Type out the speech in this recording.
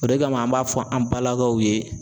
O de kama an b'a fɔ an balakaw ye.